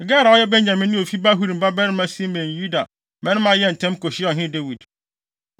Gera a ɔyɛ Benyaminni a ofi Bahurim babarima Simei ne Yuda mmarima yɛɛ ntɛm kohyiaa ɔhene Dawid.